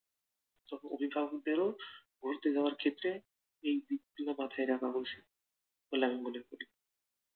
অভিভাবকদের ও ঘুরতে যাওয়ার ক্ষেত্রে এই দিক গুলো মাথায়ই রাখা উচিত বলে আমি মনে করি